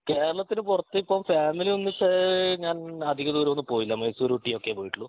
കേരളത്തിന് പൊറത്ത് ഇപ്പോം ഫാമിലി ഒന്നിച്ച് ഞാൻ അധിക ദൂരം ഒന്നും പോയില്ല മൈസൂർ ഊട്ടി ഒക്കെ പോയിട്ടൊള്ളു